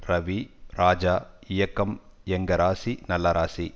ரவி ராஜா இயக்கும் எங்க ராசி நல்ல ராசி